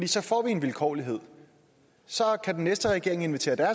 så får vi en vilkårlighed så kan den næste regering invitere